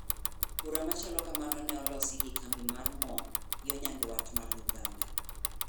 Bura machalo kamano ne olosi gi kambi mar moo yo Nyaduat mar Uganda.